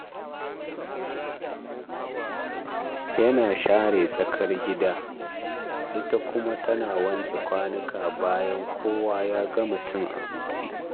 Yana share tsakar gida, ita kuma tana wanke kwanuka bayan kowa ya gama cin abinci.